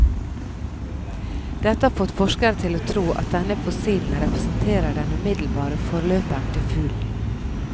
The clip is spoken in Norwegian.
Dette har fått forskere til å tro at denne fossilen representerer den umiddelbare forløperen til fuglen.